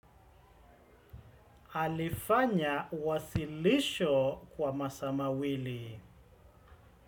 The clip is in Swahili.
Alifanya uwasilisho kwa masaa mawili.